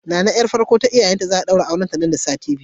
Nana yar farkon ta iyayenta za'a daura mata aure nan da sati biyu.